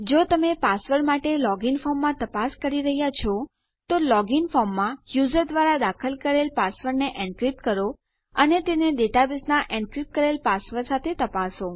જો તમે પાસવર્ડ માટે લોગ ઇન ફોર્મમાં તપાસ કરી રહ્યા છો તો લોગ ઇન ફોર્મમાં યુઝર દ્વારા દાખલ કરેલ પાસવર્ડને એનક્રીપ્ટ કરો અને તેને ડેટાબેઝનાં એનક્રીપ્ટ કરેલ પાસવર્ડ સાથે તપાસો